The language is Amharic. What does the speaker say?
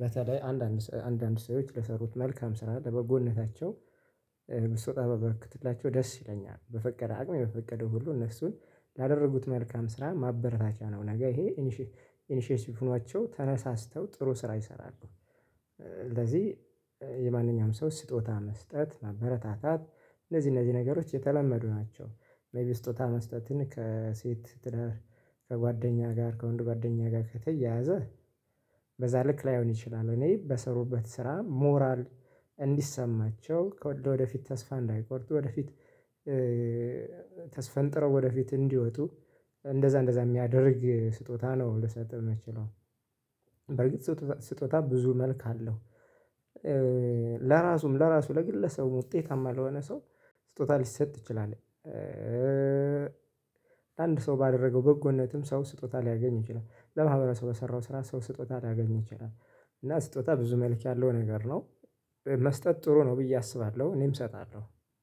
በተለይ አንዳንድ አንዳንድ ሰዎች ለሰሩት መልካም ስራ ለበጎነታቸው እ በስወጣ ባበረክትላቸው ደስ ይለኛል በፈቀደ አቅሜ በፈቀደው ሁሉ እነሱን ላደረጉት መልካም ስራ ማበረታቻ ነው ነገ ይሄ ኢንሼ ኢኒሼቲቭ ሆኗቸው ተነሳስተው ጥሩ ስራ ይሰራሉ። ስለዚህ እ የማንኛውም ሰው ስጦታ መስጠት ማበረታታት እነዚህ እነዚህ ነገሮች የተለመዱ ናቸው። መቢ ስጦታ መስጠትን ከሴት ትዳር ከጓደኛ ጋር ከወንድ ጓደኛ ጋር ከተያያዘ በዛ ልክ ላይሆን ይችላል እኔ በሰሩበት ስራ ሞራል እንዲሰማቸው ከወደፊት ተስፋ እንዳይቆርጡ ወደፊት ተስፈንጥረው ወደፊት እንዲወጡ። እንደዛ እንደዛ የሚያደርግ ስጦታ ነው ልሰጥህ ምችለው። በርግጥ ስጦታ ብዙ መልክ አለው። ለራሱም ለራሱ ለግለሰቡም ውጤታማ ለሆነ ሰው ስጦታ ሊሰጥ ይችላል። እእ አንድ ሰው ባደረገው በጎነትም ሰው ስጦታ ሊያገኝ ይችላል ለማህበረ ሰው በሰራው ስራ ሰው ስጦታ ሊያገኝ ይችላል። እና ስጦታ ብዙ መልእክት ያለው ነገር ነው። መስጠት ጥሩ ነው ብዬ አስባለሁ እኔም እሰጣለሁ